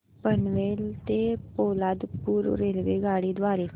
पनवेल ते पोलादपूर रेल्वेगाडी द्वारे